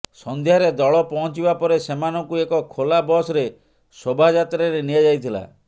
ସନ୍ଧ୍ୟାରେ ଦଳ ପହଞ୍ଚିବା ପରେ ସେମାନଙ୍କୁ ଏକ ଖୋଲା ବସ୍ରେ ଶୋଭାଯାତ୍ରାରେ ନିଆଯାଇଥିଲା